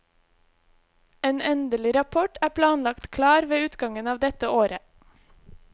En endelig rapport er planlagt klar ved utgangen av dette året.